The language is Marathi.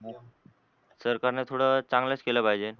सरकार न थोड चांगलच केल पाहिजे.